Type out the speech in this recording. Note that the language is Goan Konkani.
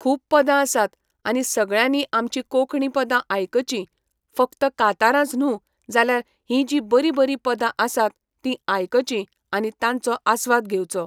खूब पदां आसात आनी सगळ्यांनीं आमचीं कोंकणी पदां आयकचीं फक्त कांतारांच न्हू जाल्यार हीं जीं बरीं बरीं पदां आसात तीं आयकचीं आनी तांचो आस्वाद घेवचो.